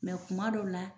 kuma dɔw la